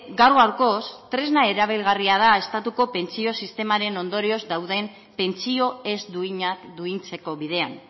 gaur gaurkoz tresna erabilgarria da estatuko pentsio sistemaren ondorioz dauden pentsio ez duinak duintzeko bidean